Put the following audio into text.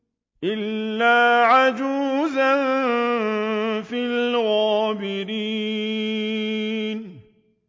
إِلَّا عَجُوزًا فِي الْغَابِرِينَ